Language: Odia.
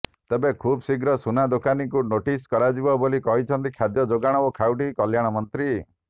ତେବେ ଖୁବ୍ଶୀଘ୍ର ସୁନା ଦୋକାନୀଙ୍କୁ ନୋଟିସ୍ କରାଯିବ ବୋଲି କହିଛନ୍ତି ଖାଦ୍ୟ ଯୋଗାଣ ଓ ଖାଉଟି କଲ୍ୟାଣ ମନ୍ତ୍ରୀ